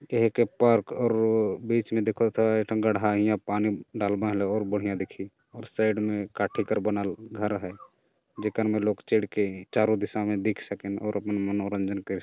एक पार्क हरु बीच में देखत हाय गड्ढा पानी डालना लहू बहुत बढ़िया दिखीं और साइड में काठी के बना लू घर है जे कर में लोग चढ़ के चारों दिशा में देख सकेन और अपन मनोरंजन कर सकन